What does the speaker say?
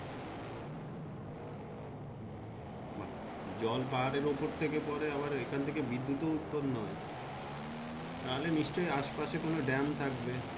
জল পাহাড়ের উপর থাকে পরে আবার এখন থাকে বিদ্যুৎ উৎপাদন হয় তাহলে অ্যাশ পাস্ কোনো ডেম থাকবেই।